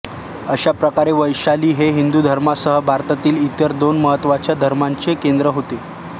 अशाप्रकारे वैशाली हे हिंदू धर्मासह भारतातील इतर दोन महत्त्वाच्या धर्मांचे केंद्र होते